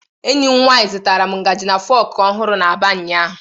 Enyi m nwanyi zụtaram ngaji and fokù ohuru n’Aba ụnyahụ.